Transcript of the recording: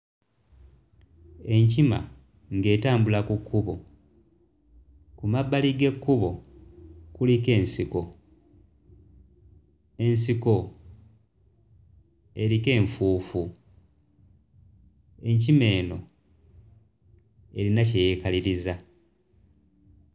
Enkima ng'etambula ku kkubo. Ku mabbali g'ekkubo kuliko ensiko, ensiko eriko enfuufu; enkima eno erina kye yeekaliriza.